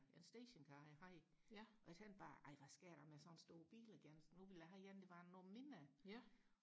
stationcar jeg havde og jeg tænkte bare ej hvad skal jeg da med sådan en stor bil igen nu vil jeg have en der var noget mindre